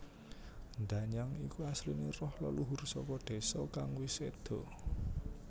Danyang iku asline roh leluhur saka désa kang wis sedo